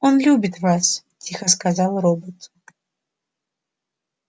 он любит вас тихо сказал робот